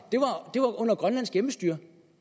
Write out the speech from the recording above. det var under grønlands hjemmestyre